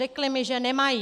Řekli mi, že nemají.